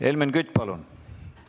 Helmen Kütt, palun!